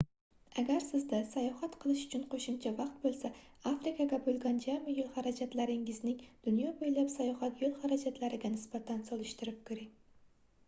agar sizda sayohat qilish uchun qoʻshimcha vaqt boʻlsa afrikaga boʻlgan jami yoʻl harajatlaringizning dunyo boʻylab sayohat yoʻl harajatlariga nisbatan solishtirib koʻring